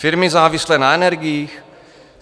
Firmy závislé na energiích?